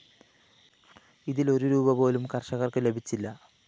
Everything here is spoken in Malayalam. ഇതില്‍ ഒരു രൂപീ പോലും കര്‍ഷകര്‍ക്ക് ലഭിച്ചില്ല